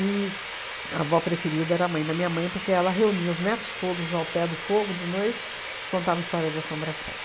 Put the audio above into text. e a avó preferida era a mãe da minha mãe, porque ela reunia os netos todos ao pé do fogo de noite e contava histórias de assombração.